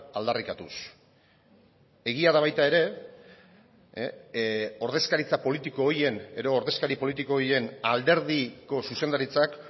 aldarrikatuz egia da baita ere ordezkaritza politiko horien edo ordezkari politiko horien alderdiko zuzendaritzak